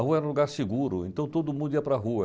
A rua era um lugar seguro, então todo mundo ia para rua.